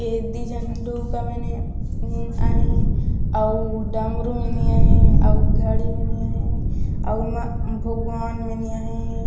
एदी झंडू का मने अ आहे अउ डमरू मनिया आहे अउ घड़ी मनिया आहे अउ भगवान मनिया आहे।